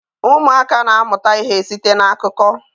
Ụmụaka na-amụta ihe site n'akụkọ.